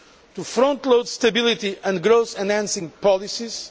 to frontload stability and growth enhancing policies